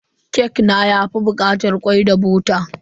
Kek na yafi bukatar kwai da bota.